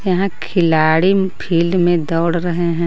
यहां खिलाड़ी फील्ड में दौड़ रहे हैं.